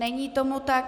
Není tomu tak.